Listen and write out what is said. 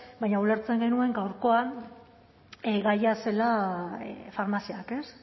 baina ulertzen genuen gaurkoan gaia zela farmaziak ez